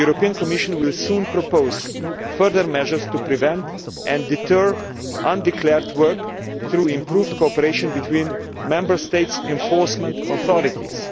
The Commission will soon propose further measures to prevent and deter undeclared work through improved cooperation between Member States' enforcement authorities.